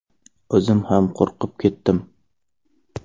O‘zim ham qo‘rqib ketdim.